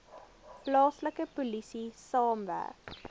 plaaslike polisie saamwerk